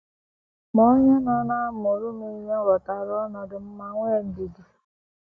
Ma onye nọ na - amụrụ m ihe ghọtara ọnọdụ m ma nwee ndidi.